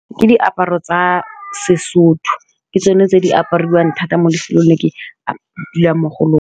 Ke diaparo tsa Sesotho ke tsone tse di apariwang thata mo lefelong le ke dulang mo go lone.